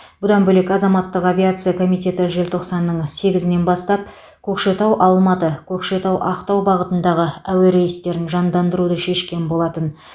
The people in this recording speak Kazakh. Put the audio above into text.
бұдан бөлек азаматтық авиация комитеті желтоқсанның сегізінен бастап көкшетау алматы көкшетау ақтау бағытындағы әуе рейстерін жандандыруды шешкен болатын